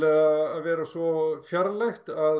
að vera svo fjarlægt að